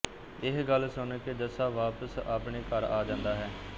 ਇਹ ਗੱਲ ਸੁਣ ਕੇ ਜੱਸਾ ਵਾਪਸ ਆਪਣੇ ਘਰ ਆ ਜਾਂਦਾ ਹੈ